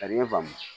Ka di ne ye faamu